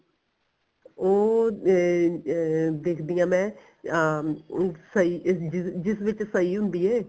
ਉਹ ਅਹ ਅਹ ਦੇਖਦੀ ਆ ਮੈਂ ਅਹ ਉਹ ਸਈ ਜਿਸ ਜਿਸ ਵਿੱਚ ਸਈ ਹੁੰਦੀ ਐ